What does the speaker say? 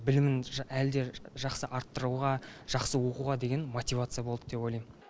білімін әлде жақсы арттыруға жақсы оқуға деген мотивация болды деп ойлайм